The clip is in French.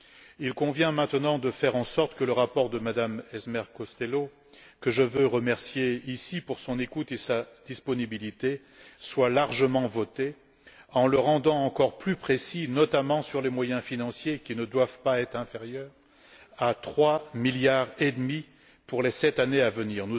Il convient maintenant de faire en sorte que le rapport de Mme Emer Costello, que je tiens à remercier pour son écoute et sa disponibilité, soit largement voté en le rendant encore plus précis, notamment sur les moyens financiers qui ne doivent pas être inférieurs à 3,5 milliards pour les sept années à venir.